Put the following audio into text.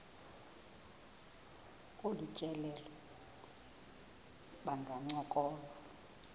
kolu tyelelo bangancokola